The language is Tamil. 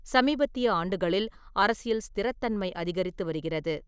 சமீபத்திய ஆண்டுகளில், அரசியல் ஸ்திரத்தன்மை அதிகரித்து வருகிறது.